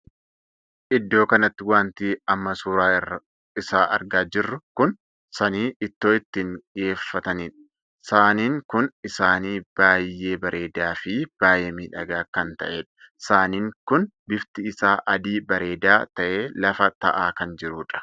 Iddoo kanatti wanti amma suuraa isaa argaa jirru kun saanii ittoo ittiin dhiheeffataniidha. saaniin kun saanii baay'ee bareedaa fi baay'ee miidhagaa kan tahedha. saaniin kun bifti isaa adii bareedaa tahee lafa taa'aa kan jirudha.